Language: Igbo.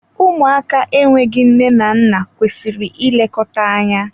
Ụmụaka enweghị nne na nna kwesịrị ị lekọta anya.